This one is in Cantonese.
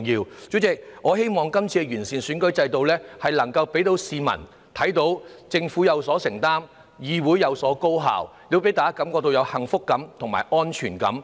代理主席，我希望今次完善選舉制度能夠讓市民看到政府有所承擔、議會處事高效，亦令大家感覺到幸福感和安全感。